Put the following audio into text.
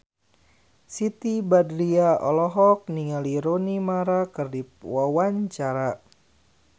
Siti Badriah olohok ningali Rooney Mara keur diwawancara